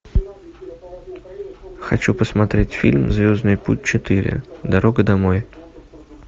хочу посмотреть фильм звездный путь четыре дорога домой